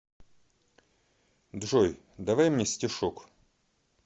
джой давай мне стишок